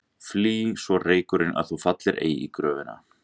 Flý svo reykurinn að þú fallir ei í gröfina.